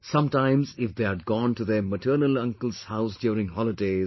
Sometimes if they had gone to their maternal uncle's house during holidays